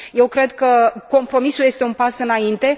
Eu cred că compromisul este un pas înainte.